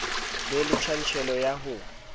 be le tjantjello ya ho